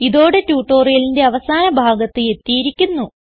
ഇതോടെ ട്യൂട്ടോറിയലിന്റെ അവസാന ഭാഗത്ത് എത്തിയിരിക്കുന്നു